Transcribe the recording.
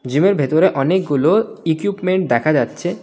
জীমের ভেতরে অনেকগুলো ইকুইপমেন্ট দেখা যাচ্ছে.